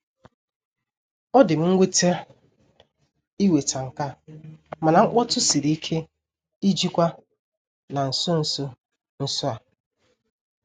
Ọ dị m nwute iweta nke a, mana mkpọtụ siri ike ijikwa na nso nso nso a.